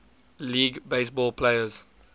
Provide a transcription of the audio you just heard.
league baseball players